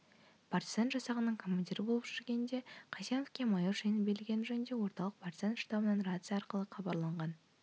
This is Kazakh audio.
партизан жасағының командирі болып жүргенде қайсеновке майор шені берілгені жөнінде орталық партизан штабынан рация арқылы қабарланған